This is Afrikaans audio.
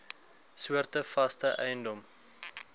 soorte vaste eiendom